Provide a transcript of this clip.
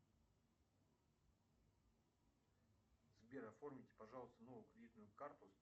сбер оформите пожалуйста новую кредитную карту